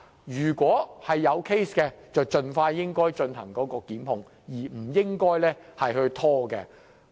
如果投訴成立，便應盡快進行檢控，不應拖延。